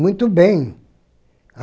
Muito bem.